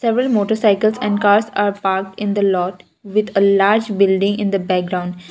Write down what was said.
several motorcycles and cars are parked in the lot with a large building in the background.